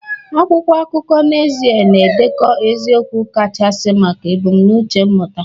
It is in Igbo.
Akwụkwọ akụkọ n'ezie na-edekọ eziokwu kachasị maka ebumnuche mmụta